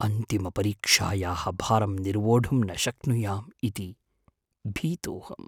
अन्तिमपरीक्षायाः भारं निर्वोढुं न शक्नुयाम् इति भीतोऽहम्।